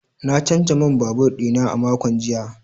Na canza man babur dina a makon jiya.